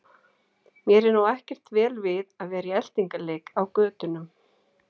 Mér er nú ekkert vel við að vera í eltingaleik á götunum.